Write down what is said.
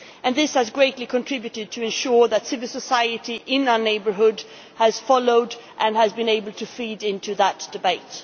This has greatly contributed to ensuring that civil society in our neighbourhood has followed, and has been able to feed into, that debate.